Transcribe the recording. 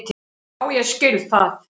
Já ég skil það.